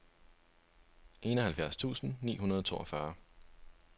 enoghalvfjerds tusind ni hundrede og toogfyrre